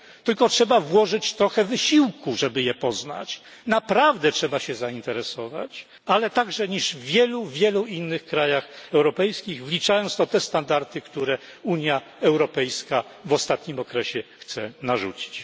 tylko trzeba włożyć trochę wysiłku, żeby je poznać, naprawdę trzeba się zainteresować ale także niż w wielu wielu innych krajach europejskich, wliczając w to te standardy, które Unia Europejska w ostatnim okresie chce narzucić.